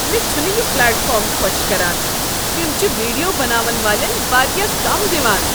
مےٚ چھنہٕ یہ پلیٹ فارم خوش كران تم چھ ویڈیو بناون والین واریاہ کم دِوان ۔